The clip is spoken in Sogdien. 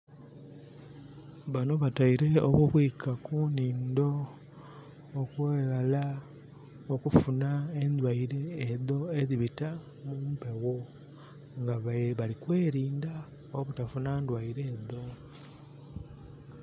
Banho bateire obubwika ku nhindo okweghala okufunha endwaire edho edhibita mumpegho nga bali kwelinda obutafuna ndwaire edho.